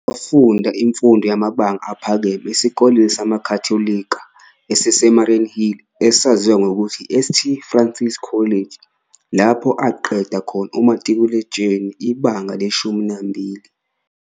Wafunda imfundo yamabanga aphakeme esikoleni samaKhatholika esiseMariannhill esaziwa ngokuthi iSt Francis College, lapho aqeda khona umatikuletsheni, ibanga le-12.